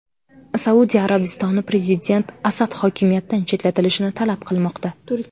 Saudiya Arabistoni prezident Asad hokimiyatdan chetlatilishini talab qilmoqda.